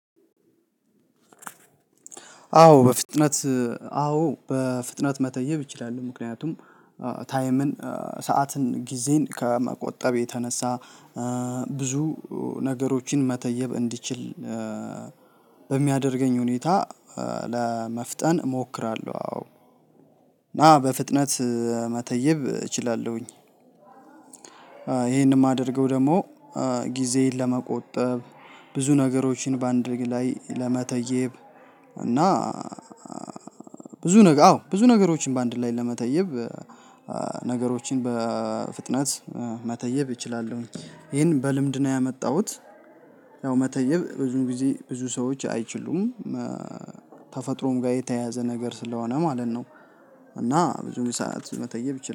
አዎ በፍጥነት አዎ በፍጥነት መተየብ እችላሉሁ። ምክንያቱም ታይምን ሰዓትን ጊዜን ከመቆጠብ የተነሳ ብዙ ነገሮችን መተየብ እንዲችል በሚያደርገኝ ሁኔታ ለመፍጠን እሞክራለሁ። አዎ ና በፍጥነት መተየብ እችላለሁኝ። ይሄንን የማደርገው ደግሞ ጊዜን ለመቆጠብ ብዙ ነገሮችን በአንድ ላይ ለመተየብ እና ብዙ ነገር አዎ ብዙ ነገሮችን በአንድ ላይ ለመተየብ ነገሮችን በፍጥነት መተይብ እችላለሁኝ ይሄን በልምድ ነው ያመጣሁት። ያው መተየብ ብዙ ጊዜ ብዙ ሰዎች አይችሉም። ተፈጥሮም ጋር የተያያዘ ነገር ስለሆነ ማለት ነው። እና ብዙ ሰዓት መተየብ